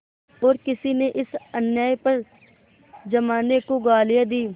और किसी ने इस अन्याय पर जमाने को गालियाँ दीं